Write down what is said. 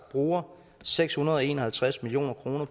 bruger seks hundrede og en og halvtreds million kroner